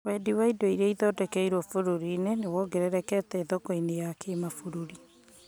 Wendi wa indo irĩa ithondekeirwo bũrũri-inĩ nĩwongererekete thoko-inĩ ya kĩmabũrũri